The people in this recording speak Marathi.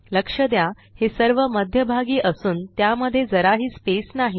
लक्ष द्या हे सर्व मध्यभागी असून त्यामध्ये जराही स्पेस नाही